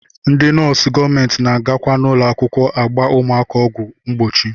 Ndị nọọsụ gọọmenti na-agakwa n'ụlọakwụkwọ agba ụmụaka ọgwụ mgbochi